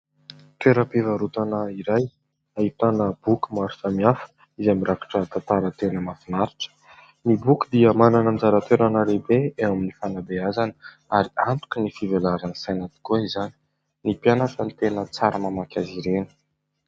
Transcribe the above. Toera-pivarotana iray ahitana boky maro samihafa izay mirakitra tantara tena mahafinaritra. Ny boky dia manana ny anjara toerana lehibe eo amin'ny fanabeazana ary antoky ny fivelaran'ny saina tokoa izany, ny mpianatra no tena tsara mamaky azy ireny.